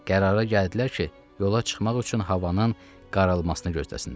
Qərara gəldilər ki, yola çıxmaq üçün havanın qaralmasını gözləsinlər.